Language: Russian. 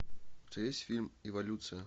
у тебя есть фильм эволюция